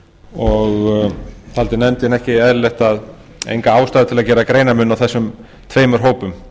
og taldi nefndin enga ástæðu til að gera greinarmun á þessum tveimur hópum